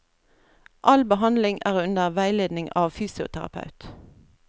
All behandling er under veiledning av fysioterapeut.